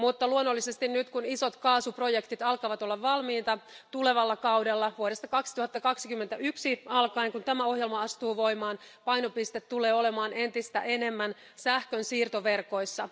Mutta luonnollisesti nyt, kun isot kaasuprojektit alkavat olla valmiita, tulevalla kaudella vuodesta 2021 alkaen, kun tämä ohjelma astuu voimaan, painopiste tulee olemaan entistä enemmän sähkön siirtoverkoissa.